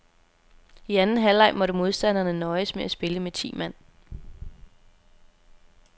I anden halvleg måtte modstanderne nøjes med at spille med ti mand.